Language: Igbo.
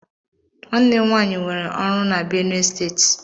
Nwanne m nwaanyị nwéré ọrụ n'Benue Steeti.